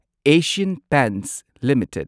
Asian Paints limited